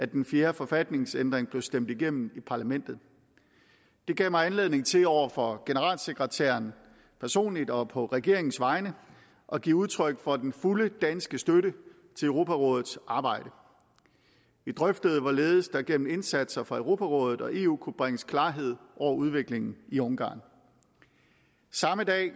den fjerde forfatningsændring blev stemt igennem i parlamentet det gav mig anledning til over for generalsekretæren personligt og på regeringens vegne at give udtryk for den fulde danske støtte til europarådets arbejde vi drøftede hvorledes der gennem indsatser fra europarådet og eu kunne bringes klarhed over udviklingen i ungarn samme dag